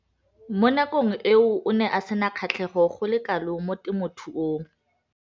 Mo nakong eo o ne a sena kgatlhego go le kalo mo temothuong.